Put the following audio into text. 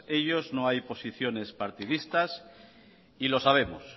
ellos no hay posiciones partidistas y lo sabemos